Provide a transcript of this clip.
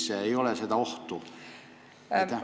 Kas ei ole seda ohtu?